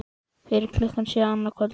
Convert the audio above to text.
Fyrir klukkan sjö annað kvöld